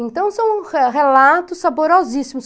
Então, são re relatos saborosíssimos.